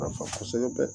Nafa kosɛbɛ